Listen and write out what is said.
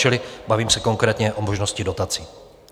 Čili bavím se konkrétně o možnosti dotací.